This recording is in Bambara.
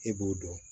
E b'o dɔn